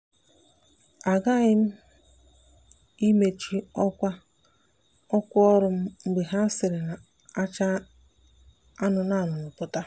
a ghaghị m ị mechi ọkwa ọkwa ọrụ m mgbe ha siri na-acha anụnụ anụnụ pụta.